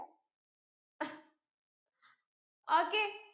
okay